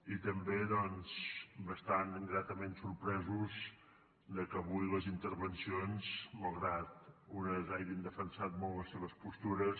i també doncs bastant gratament sorpresos que avui les intervencions malgrat que unes hagin defensat molt les seves postures